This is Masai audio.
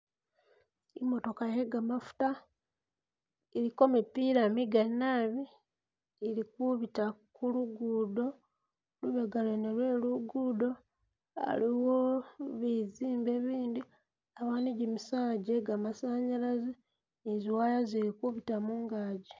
I'motoka ye gamafuta iliko mipila migali nabi ili kubita ku luguudo, lubega lwene lwe luguudo, aliwo bizimbe bindi ni gimisaala gye gamasanyalazi ni zi wire zili kubita mungazi.